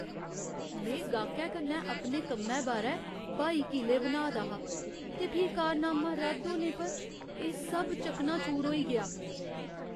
में गाह्‌कै कन्नै अपने कम्मै बारै ब्हाई किले बनाऽ दा हा ते फ्ही करारनामा रद्द होने पर एह् सब चकनाचूर होई गेआ।